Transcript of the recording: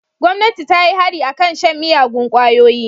Gomnati ta yi hari a kan shan miyagun kwayoyi.